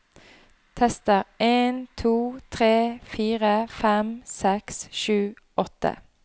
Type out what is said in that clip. Tester en to tre fire fem seks sju åtte